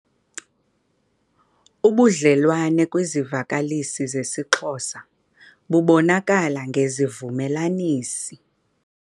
Ubudlelwane kwisivakalisi sesiXhosa bubonakala ngezivumelanisi.